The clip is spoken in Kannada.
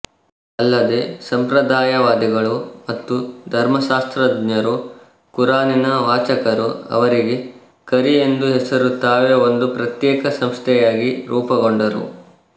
ಅಲ್ಲದೆ ಸಂಪ್ರದಾಯವಾದಿಗಳು ಮತ್ತು ಧರ್ಮಶಾಸ್ತ್ರಜ್ಞರೂ ಕುರಾನಿನ ವಾಚಕರೂ ಅವರಿಗೆ ಕರಿ ಎಂದು ಹೆಸರು ತಾವೇ ಒಂದು ಪ್ರತ್ಯೇಕ ಸಂಸ್ಥೆಯಾಗಿ ರೂಪುಗೊಂಡರು